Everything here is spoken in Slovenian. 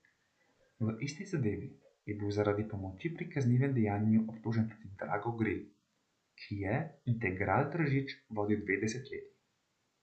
V isti zadevi je bil zaradi pomoči pri kaznivem dejanju obtožen tudi Drago Gril, ki je Integral Tržič vodil dve desetletji.